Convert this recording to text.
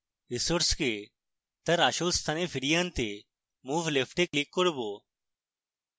resource তার আসল স্থানে ফিরিয়ে আনতে move left এ click করব